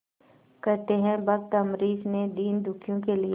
कहते हैं भक्त अम्बरीश ने दीनदुखियों के लिए